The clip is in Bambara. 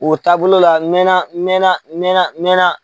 O taabolo la n mɛnna n mɛnna n mɛnna n mɛnna.